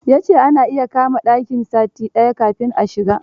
Ya ce ana iya kama ɗaki sati daya kafin a shiga